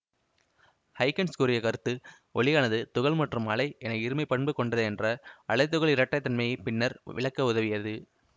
Huygens கூறிய கருத்து ஒளியானது துகள் மற்றும் அலை என இருமைப் பண்பு கொண்டது என்ற அலைதுகள் இரட்டைத்தன்மையைப் பின்னர் விளக்க உதவியது